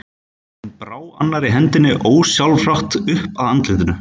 Hún brá annarri hendinni ósjálfrátt upp að andlitinu.